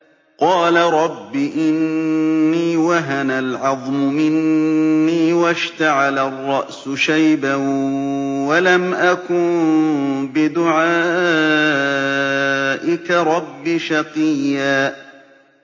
قَالَ رَبِّ إِنِّي وَهَنَ الْعَظْمُ مِنِّي وَاشْتَعَلَ الرَّأْسُ شَيْبًا وَلَمْ أَكُن بِدُعَائِكَ رَبِّ شَقِيًّا